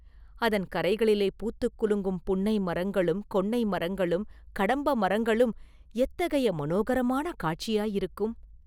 அதன் கரைகளிலே பூத்துக் குலுங்கும் புன்னை மரங்களும் கொன்னை மரங்களும் கடம்ப மரங்களும் எத்தகைய மனோகரமான காட்சியாயிருக்கும்?